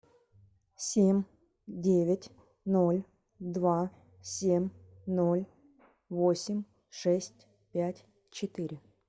семь девять ноль два семь ноль восемь шесть пять четыре